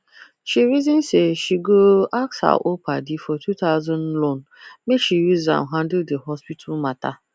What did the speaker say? she reason say she go ask her old padi for two thousand loan make she use am handle the hospital matter